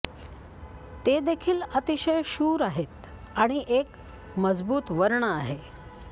ते देखील अतिशय शूर आहेत आणि एक मजबूत वर्ण आहे